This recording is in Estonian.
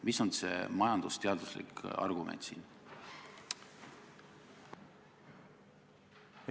Mis on see majandusteaduslik argument?